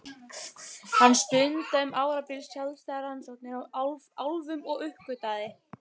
Hann stundaði um árabil sjálfstæðar rannsóknir á álfum og uppgötvaði